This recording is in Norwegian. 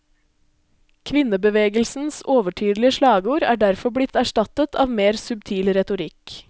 Kvinnebevegelsens overtydelige slagord er derfor blitt erstattet av mer subtil retorikk.